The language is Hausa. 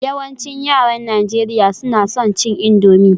Yawancin yaran Najeriya suna son cin indomie